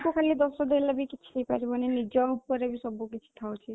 କୁ ଖାଲି ଦୋଷ ଦେଲେ କିଛି ହେଇପାରିବନି ନିଜ ଉପରେ ବି ସବୁ କିଛି ଥାଉଛି